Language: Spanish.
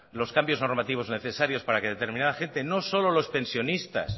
los cambios normativos necesarios para que determinada gente no solo los pensionistas